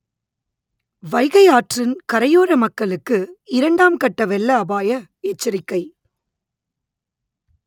வைகை ஆற்றின் கரையோற மக்களுக்கு இரண்டாம் கட்ட வெள்ள அபாய எச்சரிக்கை